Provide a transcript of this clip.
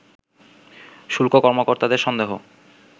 শুল্ক কর্মকর্তাদের সন্দেহ